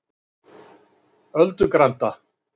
Öldugranda